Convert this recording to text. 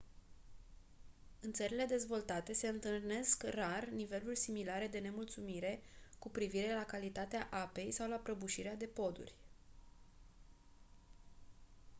în țările dezvoltate se întâlnesc rar niveluri similare de nemulțumire cu privire la calitatea apei sau la prăbușirea de poduri